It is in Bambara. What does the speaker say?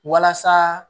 Walasa